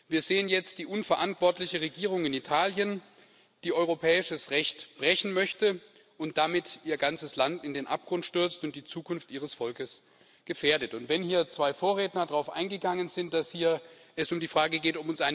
Wir sehen jetzt die unverantwortliche Regierung in Italien, die europäisches Recht brechen möchte und damit ihr ganzes Land in den Abgrund stürzt und die Zukunft ihres Volkes gefährdet. Wenn hier zwei Vorredner darauf eingegangen sind, dass es hier um die Frage geht.